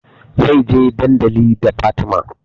Zai je dandali da Fatima